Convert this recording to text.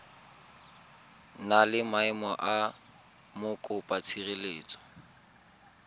na le maemo a mokopatshireletso